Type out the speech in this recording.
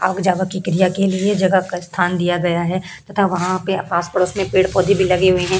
के क्रिया के लिए जगह का स्थान दिया गया है तथा वहां पे आस पड़ोस में पेड़-पौधे भी लगे हुए हैं।